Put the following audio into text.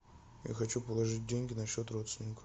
я хочу положить деньги на счет родственника